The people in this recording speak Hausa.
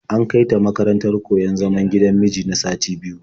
An kai ta makarantar koyon zaman gidan miji na sati biyu.